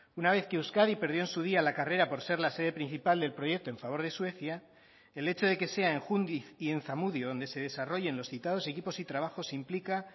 una vez que euskadi perdió en su día la carrera por ser la sede principal del proyecto en favor de suecia el hecho de que sea en jundiz y en zamudio donde se desarrollen los citados equipos y trabajos implica